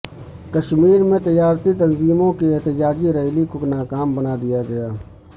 کشمیر میں تجارتی تنظیموں کی احتجاجی ریلی کو ناکام بنا دیا گیا